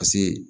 Paseke